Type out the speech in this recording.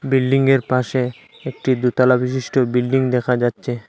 বিল্ডিংয়ের পাশে একটি দোতলাবিশিষ্ট বিল্ডিং দেখা যাচ্ছে।